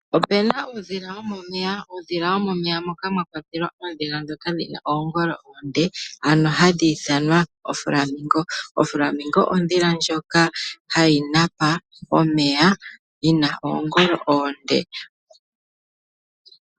Opu na uudhila womomeya. Uudhila womomeya mwakwatelwa mboka wu na oongolo oonde, ano hadhi ithanwa ooKamutoka kanyandi. OoKamutoka kanyandi. ondhila ndjoka hayi napa pomeya yi na oongolo oonde.